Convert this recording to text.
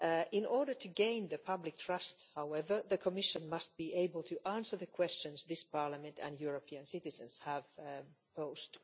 In order to gain public trust, however, the Commission must be able to answer the questions that this Parliament and European citizens have posed.